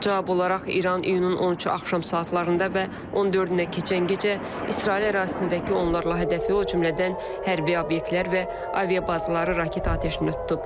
Cavab olaraq İran iyunun 13-ü axşam saatlarında və 14-nə keçən gecə İsrail ərazisindəki onlarla hədəfi, o cümlədən hərbi obyektlər və aviabazaları raket atəşinə tutub.